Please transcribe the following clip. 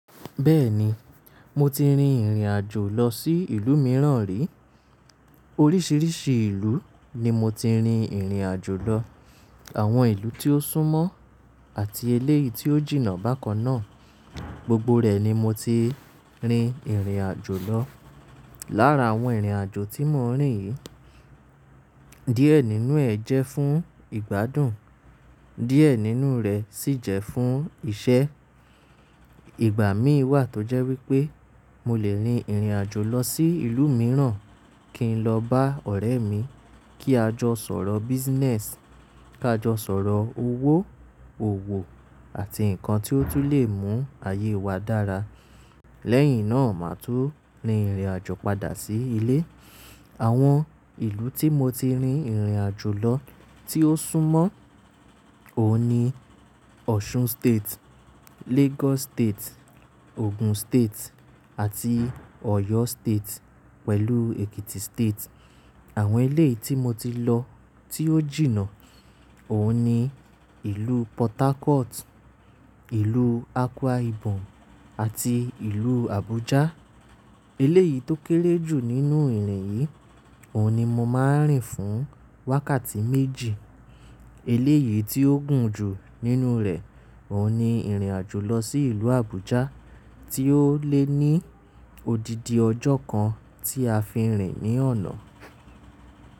Bẹ́ẹ̀ni, mo ti rin ìrìn àjò lọ sí ìlú mìíràn rí. Oríṣiríṣi ìlú ni mo ti rin ìrìn àjò lọ. Àwọn ìlú tí ó súnmọ́ àti eléyìí tí ó jìnnà bákan náà gbogbo rẹ̀ ni mo ti rin ìrìn àjò lọ. Lára àwọn ìrìn àjò tí mo rin yìí, díẹ̀ nínú ẹ̀ jẹ́ fún ìgbádùn, díẹ̀ nínú rẹ̀ sì jẹ́ fún iṣẹ́. Ìgbà mí wà tó jẹ́ wípé mo lè rin ìrìn àjò lọ sí ìlú mìíràn kí n lọ bá ọ̀rẹ́ mi kí a jọ sọ̀rọ̀ business, ká jọ sọ̀rọ̀ owó, òwò àti nǹkan tí ó tún lè mú ayé wa dára. Lẹ́yìn náà, màá tún rin ìrìn àjò padà sí ilé. Àwọn ìlú tí mo ti rin ìrìn àjò lọ tí ó súnmọ́ òun ni Osun State, Lagos State, Ogun State àti Oyo State pẹ̀lú Ekiti State. Àwọn eléyìí tí mo ti lọ tí ó jìnnà òun ni ìlú Port Harcourt, ìlú Akwa Ibom àti ìlú Abuja. Eléyìí tó kéré jù nínú ìrìn yìí òun ni mo máa ń rìn fún wákàtí méjì. Eléyìí tí ó gùn jù nínú rẹ̀ òun ni ìrìn àjò lọ sí ìlú Abuja tí ó lè ní odidi ọjọ́ kan tí a fi ń rìn ní ọ̀nà.